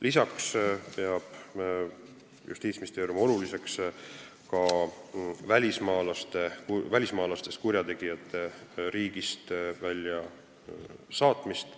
Lisaks peab Justiitsministeerium oluliseks välismaalastest kurjategijate riigist väljasaatmist.